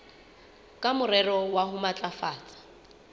ka morero wa ho matlafatsa